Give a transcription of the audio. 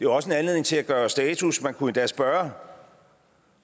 også en anledning til at gøre status man kunne endda spørge